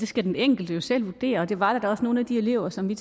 skal den enkelte jo selv vurdere der var da også nogle af de elever som